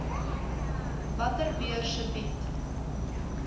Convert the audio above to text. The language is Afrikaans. watter beurse bied